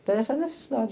Interessa é a necessidade.